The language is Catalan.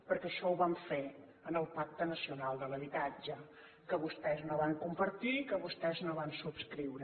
perquè això ho vam fer en el pacte nacional per a l’habitatge que vostès no van compartir i que vostès no van subscriure